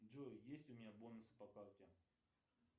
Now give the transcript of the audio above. джой есть у меня бонусы по карте